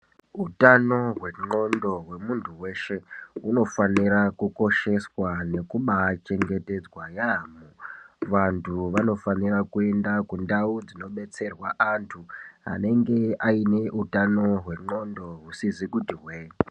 Utano hwendxondo hwemuntu weshe hunofanira kukosheswa nekubachengetedzwa yambo vantu vanofanirwa kuenda kundau dzinobatsirwa vantu vanenge vane utano hwendxondo husizi kuti hwee.